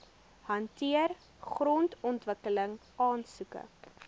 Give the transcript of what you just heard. hanteer grondontwikkeling aansoeke